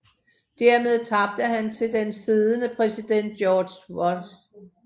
Dermed tabte han til den siddende præsident George W